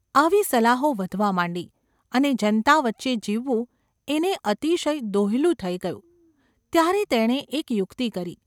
આવી સલાહો વધવા માંડી અને જનતા વચ્ચે જીવવું એને અતિશય દોહ્યલું થઈ ગયું ત્યારે તેણે એક યુક્તિ કરી.